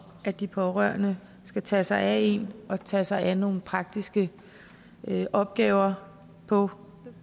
at de pårørende skal tage sig af en og tage sig af nogle praktiske opgaver på